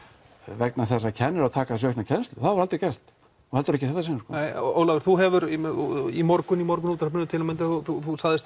vegna þess að kennarar taka að sér aukna kennslu það hefur aldrei gerst og heldur ekki í þetta sinn sko nei Ólafur þú hefur í í morgunútvarpinu til að mynda þú sagðist